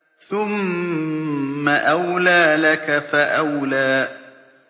ثُمَّ أَوْلَىٰ لَكَ فَأَوْلَىٰ